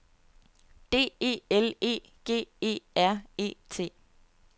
D E L E G E R E T